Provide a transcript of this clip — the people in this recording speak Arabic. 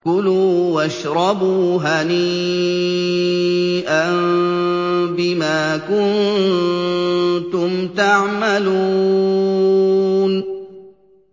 كُلُوا وَاشْرَبُوا هَنِيئًا بِمَا كُنتُمْ تَعْمَلُونَ